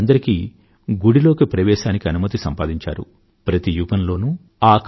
ప్రతి యుగంలోనూ ఆ కాలపు సమాజంలోని చెడును అంతమొందించేందుకు మన సమాజం నుండే మహాపురుషులు పుడుతూ ఉండడం మన అదృష్టం